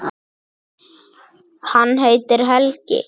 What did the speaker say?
Hann heitir Helgi.